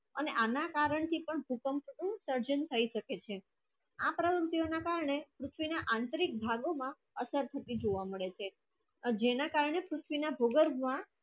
અને આના કારણ જે પણ ભૂકંપ થયાઈ જે પણ સજ્જન થયી શકે છે આ આંતરિક કારણે પૃથ્વી નો આંતરિક ભાગો માં આચાર શક્તિ જોવા મળે શે અને જેને કારણે પૃથ્વી ના